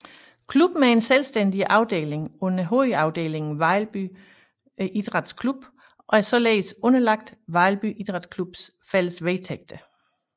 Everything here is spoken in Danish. Klubben er en selvstændig afdeling under hovedafdelingen Vejlby Idræts Klub og er således underlagt Vejlby Idræts Klubs fælles vedtægter